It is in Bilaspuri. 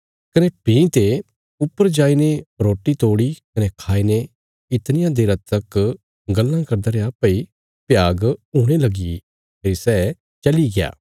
कने भीं ते ऊपर जाईने रोटी तोड़ी कने खाईने इतनिया देरा तक गल्लां करदा रैया भई भ्याग हुणे लगीग्या फेरी सै चलिग्या